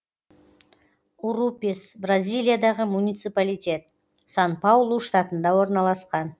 урупес бразилиядағы муниципалитет сан паулу штатында орналасқан